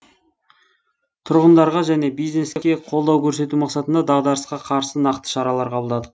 тұрғындарға және бизнеске қолдау көрсету мақсатында дағдарысқа қарсы нақты шаралар қабылдадық